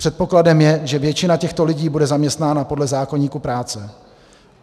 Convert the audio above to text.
Předpokladem je, že většina těchto lidí bude zaměstnána podle zákoníku práce.